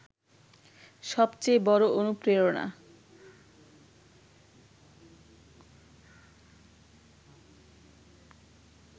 সবচেয়ে বড় অনুপ্রেরণা